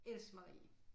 Else Marie